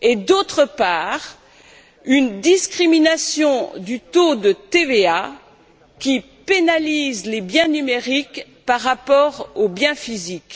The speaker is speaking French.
D'autre part, il existe une discrimination du taux de TVA, qui pénalise les biens numériques par rapport aux biens physiques.